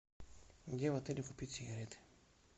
где в отеле купить сигареты